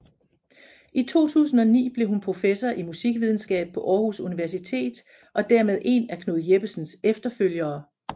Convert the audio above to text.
I 2009 blev hun professor i Musikvidenskab på Aarhus Universitet og dermed én af Knud Jeppesens efterfølgere